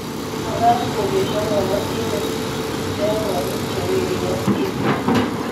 mekat kobesio kabotindet kiplekonik che werik ak tibik